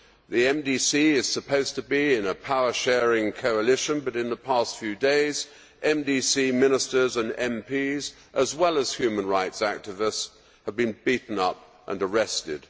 The MDC is supposed to be in a power sharing coalition, but in the past few days, MDC Ministers and MPs, as well as human rights activists, have been beaten up and arrested.